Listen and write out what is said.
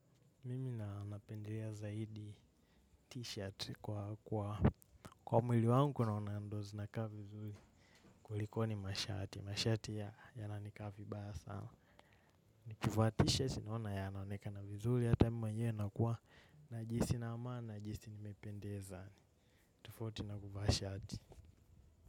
Mimi na napendelea zaidi t-shirt kwa mwili wangu naona ndo zinakaa vizuli kulikoni mashati. Mashati ya yananikaa vibaya sana. Nikivaa t-shirt naona yanaonekana vizuli. Hata mimi mwenyewe nakuwa najihisi na amani najihisi nimependeza. Tofauti na kuvaa shati.